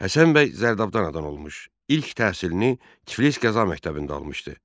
Həsən bəy Zərdabdan anadan olmuş, ilk təhsilini Tiflis Qəza məktəbində almışdı.